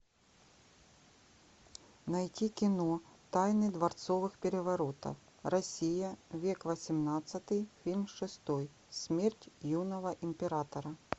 найти кино тайны дворцовых переворотов россия век восемнадцатый фильм шестой смерть юного императора